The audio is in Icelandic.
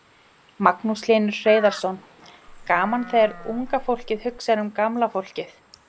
Magnús Hlynur Hreiðarsson: Gaman þegar unga fólkið hugsar um gamla fólkið?